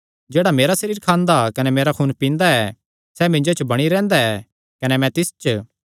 जेह्ड़ा मेरा सरीर खांदा कने मेरा खून पींदा ऐ सैह़ मिन्जो च बणी रैंह्दा ऐ कने मैं तिस च